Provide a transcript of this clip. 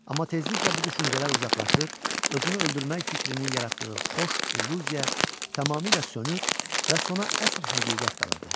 Amma tezliklə bu düşüncələr uzaqlaşır, özünü öldürmək fikrinin yaratdığı xoş illüziya tamamilə sönür və sona əsl həqiqət qalırdı.